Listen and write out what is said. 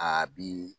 A bi